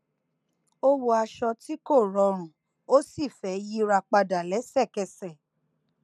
ó wọ aṣọ tí kò rọrùn ó sì fẹ yíra padà lẹsẹkẹsẹ